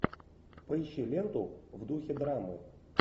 поищи ленту в духе драмы